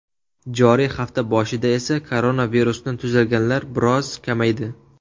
Joriy hafta boshida esa koronavirusdan tuzalganlar biroz kamaydi.